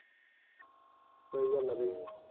ਸਹੀ ਗੱਲ ਹੈ ਬਈ